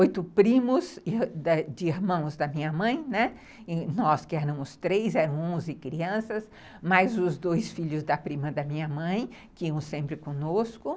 oito primos de irmãos da minha mãe, né, e nós que éramos três, eram onze crianças, mais os dois filhos da prima da minha mãe, que iam sempre conosco.